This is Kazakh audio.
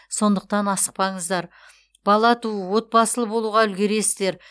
сондықтан асықпаңыздар бала туу отбасылы болуға үлгересіздер